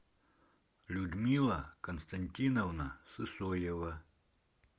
людмила константиновна сысоева